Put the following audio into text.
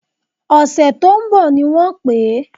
Ọ̀sẹ̀ tó ń bọ̀ ni wọ́n pè é